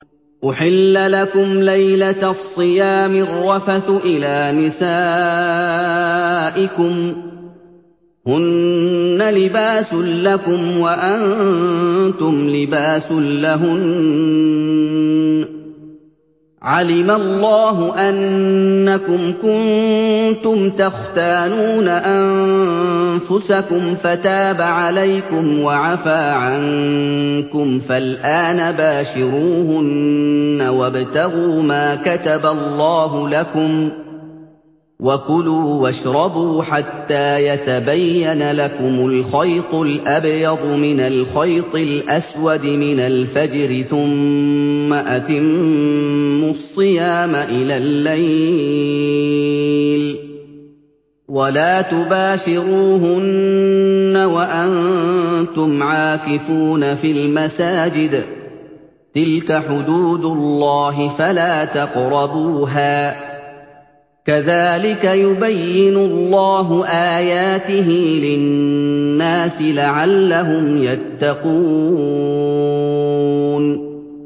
أُحِلَّ لَكُمْ لَيْلَةَ الصِّيَامِ الرَّفَثُ إِلَىٰ نِسَائِكُمْ ۚ هُنَّ لِبَاسٌ لَّكُمْ وَأَنتُمْ لِبَاسٌ لَّهُنَّ ۗ عَلِمَ اللَّهُ أَنَّكُمْ كُنتُمْ تَخْتَانُونَ أَنفُسَكُمْ فَتَابَ عَلَيْكُمْ وَعَفَا عَنكُمْ ۖ فَالْآنَ بَاشِرُوهُنَّ وَابْتَغُوا مَا كَتَبَ اللَّهُ لَكُمْ ۚ وَكُلُوا وَاشْرَبُوا حَتَّىٰ يَتَبَيَّنَ لَكُمُ الْخَيْطُ الْأَبْيَضُ مِنَ الْخَيْطِ الْأَسْوَدِ مِنَ الْفَجْرِ ۖ ثُمَّ أَتِمُّوا الصِّيَامَ إِلَى اللَّيْلِ ۚ وَلَا تُبَاشِرُوهُنَّ وَأَنتُمْ عَاكِفُونَ فِي الْمَسَاجِدِ ۗ تِلْكَ حُدُودُ اللَّهِ فَلَا تَقْرَبُوهَا ۗ كَذَٰلِكَ يُبَيِّنُ اللَّهُ آيَاتِهِ لِلنَّاسِ لَعَلَّهُمْ يَتَّقُونَ